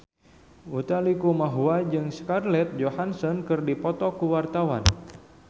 Utha Likumahua jeung Scarlett Johansson keur dipoto ku wartawan